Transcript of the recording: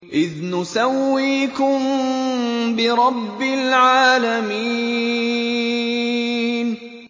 إِذْ نُسَوِّيكُم بِرَبِّ الْعَالَمِينَ